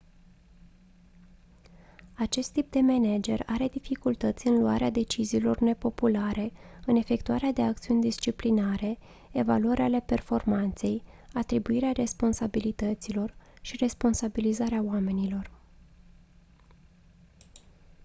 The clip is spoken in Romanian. acest tip de manager are dificultăți în luarea deciziilor nepopulare în efectuarea de acțiuni disciplinare evaluări ale performanței atribuirea responsabilităților și responsabilizarea oamenilor